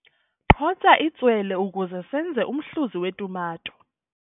Qhotsa itswele ukuze senze umhluzi wetumato.